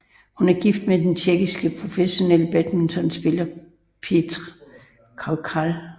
Hun er gift med den tjekkiske professionelle badmintonspiller Petr Koukal